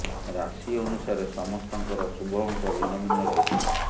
ରାଶି ଅନୁସାରେ ସମସ୍ତଙ୍କର ଶୁଭ ଅଙ୍କ ଭିନ୍ନ ଭିନ୍ନ ରହିଥାଏ